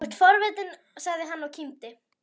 Þú ert svo forvitinn sagði hann og kímdi.